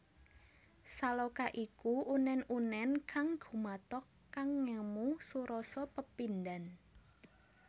Saloka iku unèn unèn kang gumathok kang ngemu surasa pepindhan